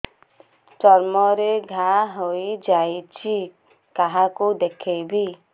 ଚର୍ମ ରେ ଘା ହୋଇଯାଇଛି କାହାକୁ ଦେଖେଇବି